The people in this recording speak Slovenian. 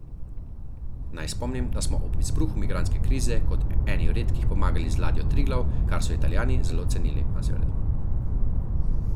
Naj spomnim, da smo ob izbruhu migrantske krize kot eni redkih pomagali z ladjo Triglav, kar so Italijani zelo cenili.